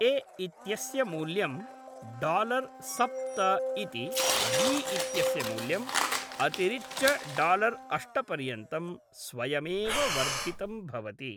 ए इत्यस्य मूल्यं डालर् सप्त इति बी इत्यस्य मूल्यम् अतिरिच्य डालर् अष्ट पर्यन्तं स्वयमेव वर्धितं भवति।